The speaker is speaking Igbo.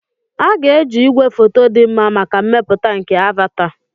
A ga-eji igwefoto dị mma maka mmepụta nke "Avata."